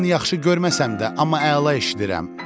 Mən yaxşı görməsəm də, amma əla eşidirəm.